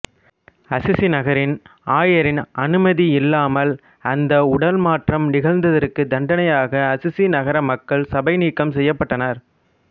Assisi நகரின் ஆயரின் அனுமதி இல்லாமல் அந்த உடல் மாற்றம் நிகழ்ந்ததற்குத் தண்டனையாக அசிசி நகர மக்கள் சபைநீக்கம் செய்யப்பட்டனர்